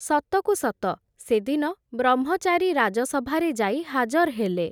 ସତକୁସତ ସେଦିନ, ବ୍ରହ୍ମଚାରୀ ରାଜସଭାରେ ଯାଇ ହାଜର୍ ହେଲେ ।